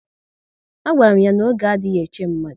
A gwara m ya na oge adịghị eche mmadụ